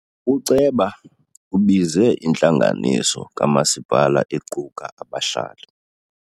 Uceba ubize intlanganiso kamasipala equka abahlali.